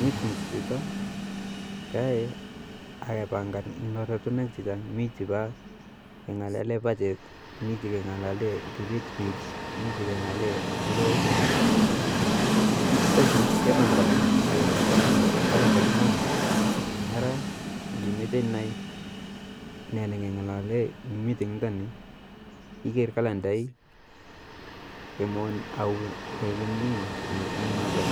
meeting chuto keae ak kepangan eng oratunkwe chechang, me chepa kengalale bajet, mi chekangalale depet bills ,mi chekengalale laws, chutachu kepanganani ak kende kalendait ngwai, ara ngimeche inae ne nekengangale eng meeting nitani ,iker kalendait kemwaun hau ole mii meeting noto